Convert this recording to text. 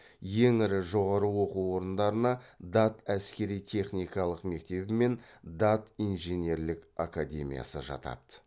ең ірі жоғары оқу орындарына дат әскери техникалық мектебі мен дат инженерлік академиясы жатады